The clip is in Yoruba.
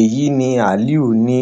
èyí ni aliu ní